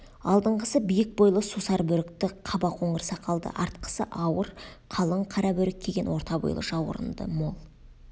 алдыңғысы биік бойлы сусар бөрікті қаба қоңыр сақалды артқысы ауыр қалың қара бөрік киген орта бойлы жауырынды мол